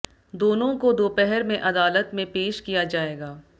दोनों को दोपहर में अदालत में पेश किया जाएगा